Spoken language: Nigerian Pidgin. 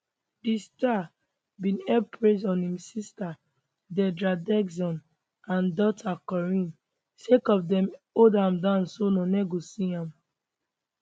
di star bin heap praise on im sister deidra dixon and daughter corinne sake of dem hold am down so noone go see am